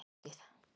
Grænahlíð